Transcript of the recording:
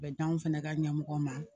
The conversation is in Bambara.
A bɛ d'anw fɛnɛ ka ɲɛmɔgɔ ma